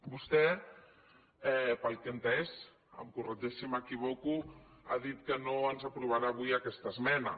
vostè pel que he entès em corregeix si m’equivoco ha dit que no ens aprovarà avui aquesta esmena